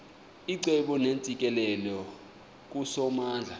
icebo neentsikelelo kusomandla